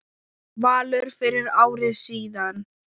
Valur fyrir ári síðan.